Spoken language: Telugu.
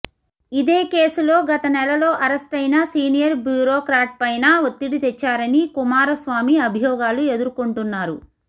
ఇదే కేసులో గత నెలలో అరెస్టయిన సీనియర్ బ్యూరోక్రాట్పైనా ఒత్తిడి తెచ్చారని కుమార స్వామి అభియోగాలు ఎదుర్కొంటున్నారు